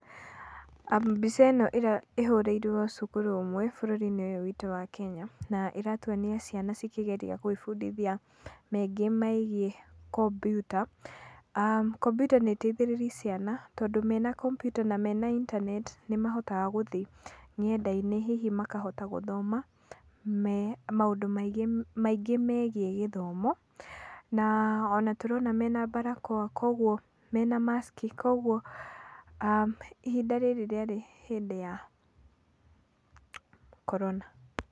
Mbica ĩno ĩhũrĩirwo cukuru ũmwe bũrũri-inĩ ũyũ witũ wa Kenya. Na ĩratuonia ciana cikĩgeria gwibundithia maingĩ megiĩ kompiuta. aah Kompiuta nĩ ĩteithĩrĩirie ciana, tondũ mena kompiuta, na mena intaneti nĩmahotaga gũthiĩ nenda-inĩ, hihi makahota gũthoma maũndũ maingĩ megiĩ gĩthomo. Na ona tũrona mena barakoa, koguo, mena mask, koguo ihinda rĩrĩ rĩari hĩndĩ ya korona.